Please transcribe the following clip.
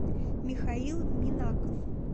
михаил минаков